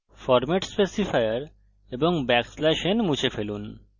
format specifier এবং \n মুছে ফেলুন